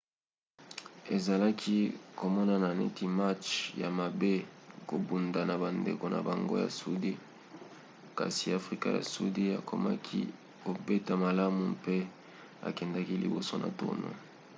ezalaki komonnana neti match ya mabe kobunda na bandeko na bango ya sudi kasi afrika ya sudi akomaki kobeta malamu mpe akendaki liboso na tournoi